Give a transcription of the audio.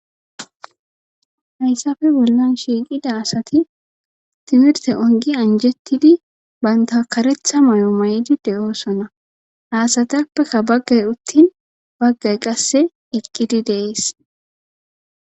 hayssafe bollan shiiqida asati timirte ongi anjettidi banta karetha may7o may7idi de7oosona haasatappekka baggay uttin baggay qasse iqqidi deees